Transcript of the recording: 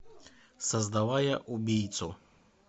создавая убийцу